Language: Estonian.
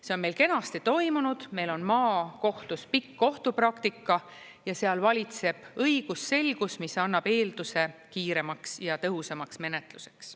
See on meil kenasti toimunud, meil on maakohtus pikk kohtupraktika ja seal valitseb õigusselgus, mis annab eelduse kiiremaks ja tõhusamaks menetluseks.